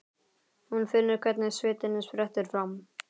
Hún finnur hvernig svitinn sprettur fram.